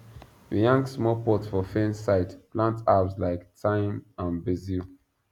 we hang small pot for fence side plant herbs like thyme and basil